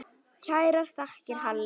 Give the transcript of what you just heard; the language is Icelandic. Kærar þakkir, Halli.